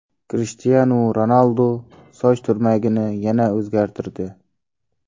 Krishtianu Ronaldu soch turmagini yana o‘zgartirdi .